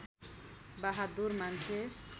बहादुर मान्छे